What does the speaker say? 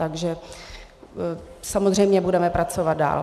Takže samozřejmě budeme pracovat dál.